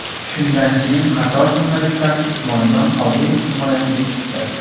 Shundan keyin qator jurnalistlar Usmonjon Qodirov himoyasiga chiqdi .